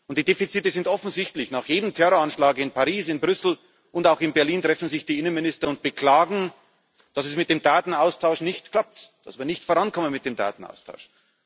Die Defizite sind offensichtlich Nach jedem Terroranschlag in Paris, in Brüssel und auch in Berlin treffen sich die Innenminister und beklagen, dass es mit dem Datenaustausch nicht klappt, dass wir nicht vorankommen mit dem Datenaustausch.